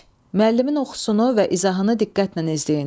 Müəllimin oxusunu və izahını diqqətlə izləyin.